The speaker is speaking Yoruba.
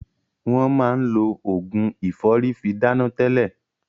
Wọn máa lo Ògùn ìfọ́rí fi dáná tẹlẹ.